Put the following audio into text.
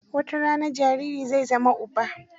Watarana jariri zai zama uba.